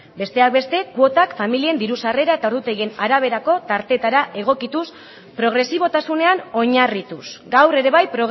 besteak beste kuotak familien diru sarrera eta ordutegien araberako tartetara egokituz progresibotasunean oinarrituz gaur ere bai